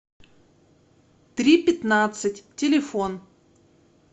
три пятнадцать телефон